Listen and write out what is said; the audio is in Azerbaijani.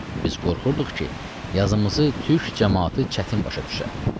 Biz qorxurduq ki, yazımızı türk camaatı çətin başa düşə.